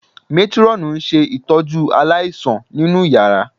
Métírọ́ọ̀nù ń ṣe ìtọ́jú aláìsàn nínú yàrá